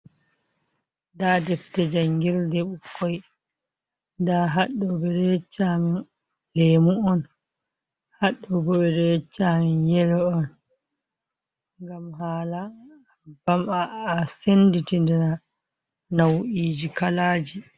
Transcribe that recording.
Ndaa defte janngirde ɓukkoy, nda haɗɗo ɓe ɗo yecca amin leemu on, haa ɗo ɓe ɗo yecca amin yelo on, ngam haala a sennditira naw’iiji kalaaji.